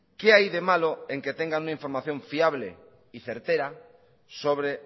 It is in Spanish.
qué hay de malo en que tengan una información fiable y certera sobre